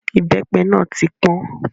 Ìbẹ́pẹ náà tí pọ́n.